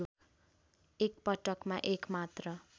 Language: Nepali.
एकपटकमा एक मात्र